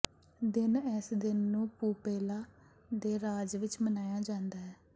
ਦਿਨ ਇਸ ਦਿਨ ਨੂੰ ਪੂਪੇਲਾ ਦੇ ਰਾਜ ਵਿਚ ਮਨਾਇਆ ਜਾਂਦਾ ਹੈ